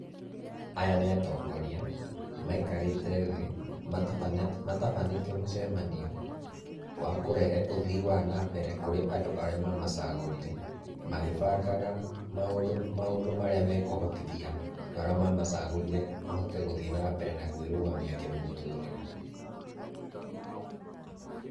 Aya nĩ atongoria, maikarĩte thĩ, matabanĩte mũcemanio wa kũrehe ũthii wa na mbere kũrĩ andũ arĩa mamacagũrire, magĩbangaga maũndũ marĩa mekũhotithia andũ arĩa mamacagũrire mahote gũthiĩ na mbere na kwĩrũgamia kĩmũtũrĩre.